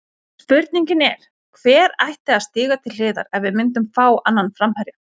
Spurningin er, hver ætti að stíga til hliðar ef við myndum fá annan framherja?